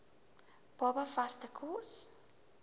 baba vaste kos